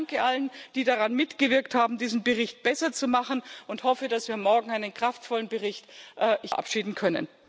Ich danke allen, die daran mitgewirkt haben, diesen Bericht besser zu machen, und hoffe, dass wir morgen hier einen kraftvollen Bericht verabschieden können.